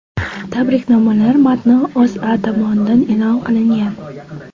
Tabriknomalar matni O‘zA tomonidan e’lon qilingan .